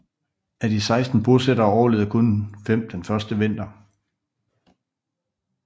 Af de 16 bosættere overlevede kun fem den første vinter